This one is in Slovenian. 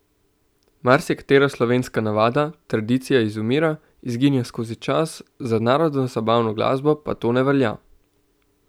Marsikatera slovenska navada, tradicija izumira, izginja skozi čas, za narodnozabavno glasbo pa to ne velja.